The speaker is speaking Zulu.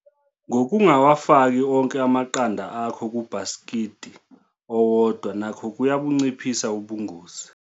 Ngokungawafaki onke amaqanda akho kubhasikidi owodwa nakho kuyabunciphisa ubungozi.